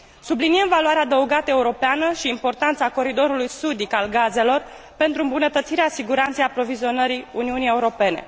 Subliniem valoarea adăugată europeană și importanța coridorului sudic al gazelor pentru îmbunătățirea siguranței aprovizionării Uniunii Europene.